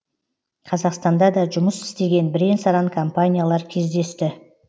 қазақстанда да жұмыс істеген бірен саран компаниялар кездесті